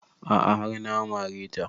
A'a har na mare ta